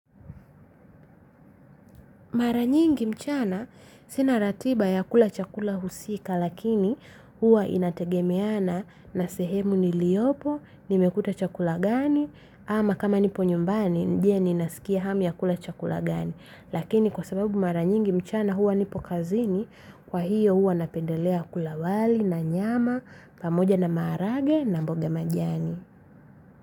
Maranyingi mchana sinaratiba ya kula chakula husika lakini huwa inategemeana na sehemu ni liopo nimekuta chakula gani ama kama niponyumbani je ni nasikia hamu ya kula chakula gani lakini kwa sababu maranyingi mchana huwa nipokazini kwa hiyo huwa napendelea kulawali na nyama pamoja na marage na mboga majani.